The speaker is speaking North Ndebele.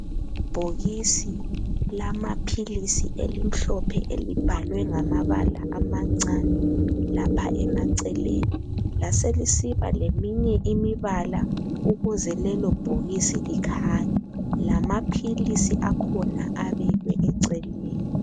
Ibhokisi lamapilisi elimhlophe elibhalwe ngamabala amancane lapha emaceleni . Laselisiba leminye imibala ukuze lelo bhokisi likhanye. Lamapilisi akhona abekwe eceleni.